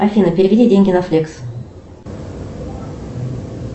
афина переведи деньги на флекс